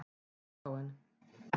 Litháen